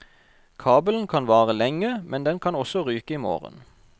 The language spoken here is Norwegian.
Kabelen kan vare lenge, men den kan også ryke i morgen.